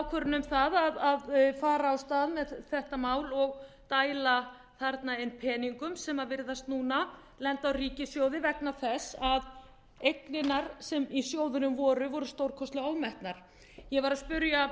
ákvörðun um að fara af stað með þetta mál og dæla þarna inn peningum sem virðast núna lenda á ríkissjóði vegna þess að eignirnar sem í sjóðunum voru voru stórkostlega ofmetnar ég var að spyrja